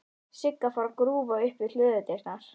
Sigga fór að grúfa upp við hlöðudyrnar.